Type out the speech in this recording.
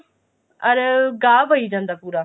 ਅਰ ਗਾਹ ਪਈ ਜਾਂਦਾ ਪੂਰਾ